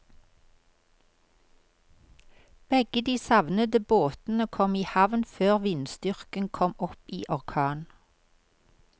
Begge de savnede båtene kom i havn før vindstyrken kom opp i orkan.